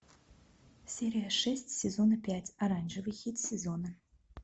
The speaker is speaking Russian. серия шесть сезона пять оранжевый хит сезона